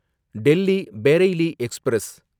Delhi Bareilly express